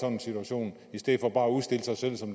en situation i stedet for bare at udstille sig selv som